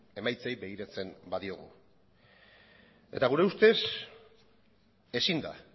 emaitzei begiratzen badiogu eta gure ustez ezin da